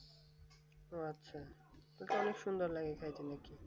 ও আচ্ছা অনেক সুন্দর